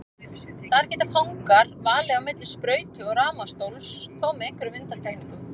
Þar geta fangar valið á milli sprautu og rafmagnsstóls, þó með einhverjum undantekningum.